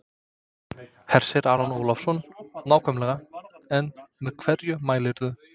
Hersir Aron Ólafsson: Nákvæmlega en með hverju mælirðu?